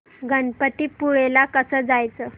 गणपतीपुळे ला कसं जायचं